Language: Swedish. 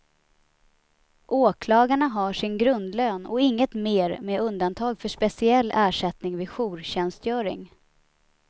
Åklagarna har sin grundlön och inget mer med undantag för speciell ersättning vid jourtjänstgöring.